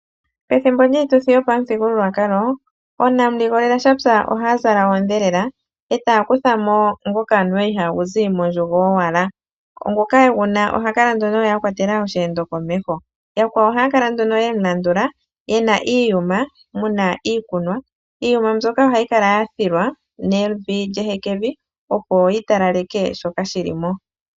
Ethimbo lyiituthi yopamuthigululwakalo onamuligoleleshapya ohaya zala oodhelela yo taya kuthamo ngoka anuwa iha gu zi mondjugo owala, ngoka eguna oha kala akwatela osheendo komeho yakwawo ohaya kala yemulandula yena iiyuma muna iikunwa. Iiyuma mbyoka ohayi kala yathilwa nevi lyehekevi opo yi talaleke shoka shilimo.